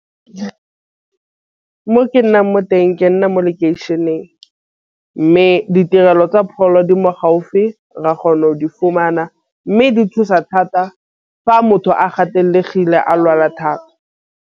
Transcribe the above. Mo ke nnang mo teng ke nna mo location-eng mme ditirelo tsa pholo di mo gaufi ra kgona go di fumana mme di thusa thata fa motho a gatelegile a lwala thata.